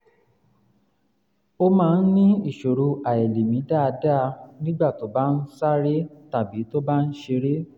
ó máa ń ní ìṣòro àìlèmí dáadáa nígbà tó bá ń sáré tàbí tó ń ṣeré